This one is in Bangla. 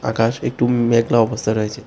আকাশ একটু মে-মেঘলা অবস্থায় রয়েছে।